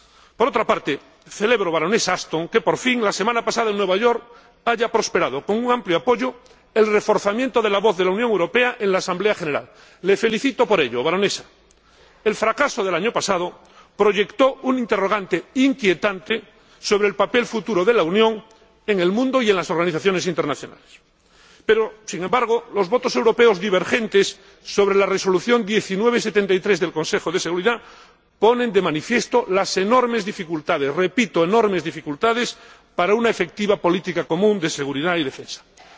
Por otra parte, celebro, señora Ashton, que, por fin, la semana pasada en Nueva York prosperase, con un amplio apoyo, el reforzamiento de la voz de la Unión Europea en la Asamblea General de las Naciones Unidas. La felicito por ello, teniendo en cuenta que el fracaso del año pasado proyectó un interrogante inquietante sobre el papel futuro de la Unión en el mundo y en las organizaciones internacionales. Pero, sin embargo, los votos europeos divergentes sobre la Resolución 1973 del Consejo de Seguridad de las Naciones Unidas ponen de manifiesto las enormes dificultades repito, enormes dificultades para lograr una política común de seguridad y defensa efectiva.